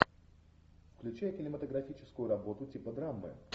включай кинематографическую работу типа драмы